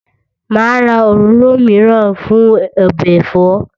Màá ra òróró mìíràn fún ọbẹ̀ ẹ̀fọ́